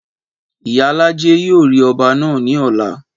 Ìyálájé yóò rí ọba náà ní ọ̀la